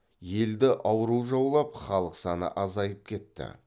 елді ауру жаулап халық саны азайып кетті